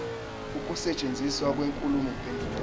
ukusetshenziswa kwenkulumo mpendulwano